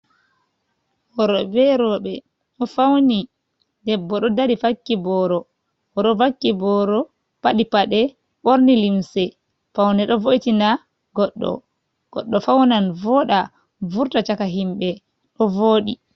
Worɓe be rowɓe ɗo fawni, debbo ɗo dari vakki booro. O ɗo vakki booro, faɗi paɗe, ɓorni limse, fawne ɗo vo'itina goɗɗo. Goɗɗo fawnan vooɗa, vurta caka himɓe, ɗo vooɗi.